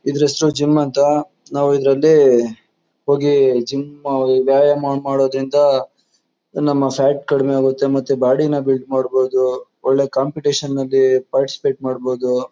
ಇದ್ರ್ ಹೆಸರು ಜಿಮ್ ಅಂತ ನಾವು ಇದ್ರಲ್ಲಿ ಹೋಗಿ ಜಿಮ್ ವ್ಯಾಯಮ ಮಾಡೋದ್ರಿಂದ ನಮ್ಮ ಫ್ಯಾಟ್ ಕಡಮೆ ಆಗುತ್ತೆ ಮತ್ತೆ ಬಾಡಿ ನ ಬಿಲ್ಡ್ ಮಾಡಬೋದು ಒಳ್ಳೆ ಕಾಂಪಿಟಿಷನ್ ಅಲ್ಲಿ ಪಾರ್ಟಿಸಿಪೇಟ್ ಮಾಡಬೋದು.